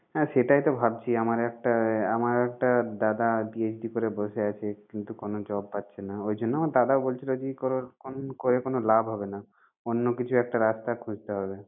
হ্যাঁ সেটাই তো ভাবছি আমার একটা আমার একটা দাদা PhD করে বসে আছে কিন্তু কোন জব পাচ্ছে না। ওই জন্য আমার দাদাও বলছিল যে ই করার করে কোনো লাভ হবে না অন্য কিছু একটা রাস্তা খুঁজতে হবে।